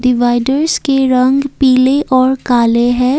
Dividers के रंग पीले और काले हैं।